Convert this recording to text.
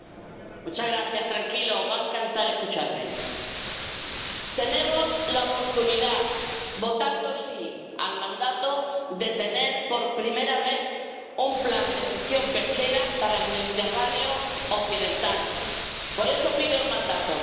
Señor presidenta —tranquilos, les va a encantar escucharme—, tenemos la oportunidad, votando sí al mandato, de tener por primera vez un plan de gestión pesquera para el Mediterráneo occidental. Por eso pido el mandato.